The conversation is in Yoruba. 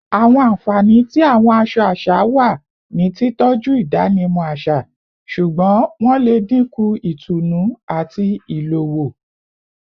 Awọn anfani ti awọn aṣọ aṣa wa ni titọju idanimọ aṣa, ṣugbọn wọn le dinku itunu ati ilowo